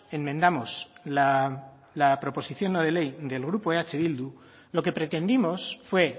enmendamos la proposición no de ley del grupo eh bildu lo que pretendimos fue